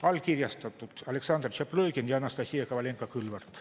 Allkirjastanud Aleksandr Tšaplõgin ja Anastassia Kovalenko-Kõlvart.